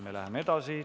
Läheme edasi.